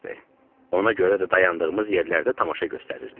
Ona görə də dayandığımız yerlərdə tamaşa göstərirdik.